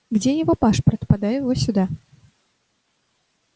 где его пашпорт подай его сюда